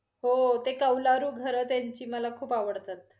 हो~ ते कौलारू घर त्यांची मला खूप आवडतात.